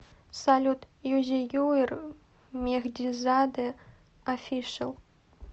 салют юзеюир мехдизаде офишл